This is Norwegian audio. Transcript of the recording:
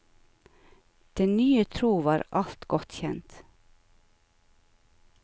Den nye tro var alt godt kjent.